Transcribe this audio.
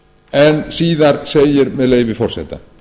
en síðan segir með leyfi forseta